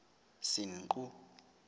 senqu